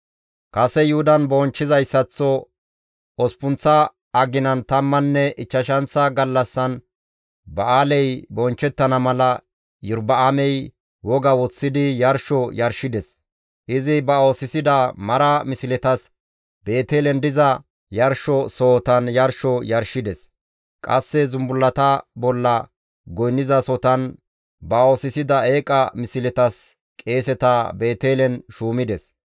Kase Yuhudan bonchchizayssaththo osppunththa aginan tammanne ichchashanththa gallassan ba7aaley bonchchettana mala Iyorba7aamey woga woththidi yarsho yarshides. Izi ba oosisida mara misletas Beetelen diza yarsho sohotan yarsho yarshides. Qasse zumbullata bolla goynnizasotan ba oosisida eeqa misletas qeeseta Beetelen shuumides.